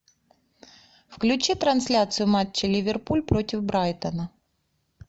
включи трансляцию матча ливерпуль против брайтона